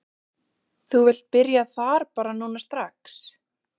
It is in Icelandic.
Þú vilt byrja þar bara núna strax?